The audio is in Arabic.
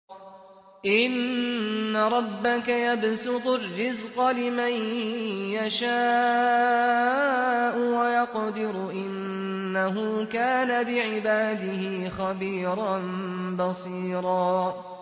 إِنَّ رَبَّكَ يَبْسُطُ الرِّزْقَ لِمَن يَشَاءُ وَيَقْدِرُ ۚ إِنَّهُ كَانَ بِعِبَادِهِ خَبِيرًا بَصِيرًا